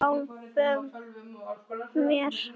Og sjálfum mér.